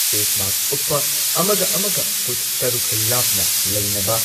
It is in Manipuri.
ꯐꯦꯁ ꯃꯥꯛꯁ ꯎꯞꯄ ꯑꯃꯒ ꯑꯃꯒ ꯐꯨꯠ ꯇꯔꯨꯛ ꯂꯥꯞꯅ ꯂꯩꯅꯕ,